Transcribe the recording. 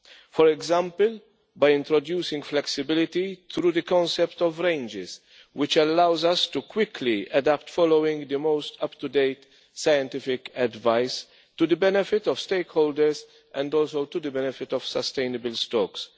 For example, by introducing flexibility through the concept of ranges, which allows us to quickly adapt, following the most up to date scientific advice to the benefit of stake holders and also to the benefit of sustainable stocks.